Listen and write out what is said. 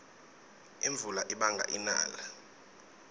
imvula ibanga inala